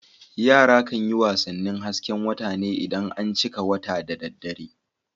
Yara kan yi wasannin hasken wata ne idan an cika wata da dare.